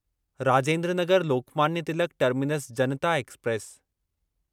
Rajendra Nagar Lokmanya Tilak terminus Janata express